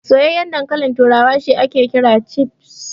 Soyayyan dankalin turawa shi ake cewa Chips.